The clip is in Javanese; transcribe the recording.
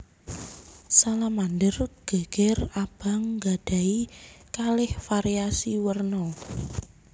Salamander geger abang nggadhahi kalih variasi werna